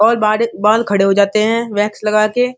और बाड़ बाल खड़े हो जाते है वैक्स लगा के।